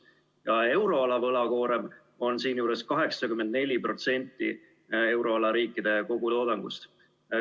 Ka euroala võlakoorem on siinjuures 84% euroala riikide kogutoodangust.